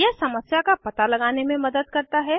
यह समस्या का पता लगाने में मदद करता है